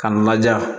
K'a laja